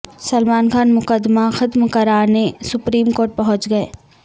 سلمان خان مقدمہ ختم کرانے سپریم کورٹ پہنچ گئے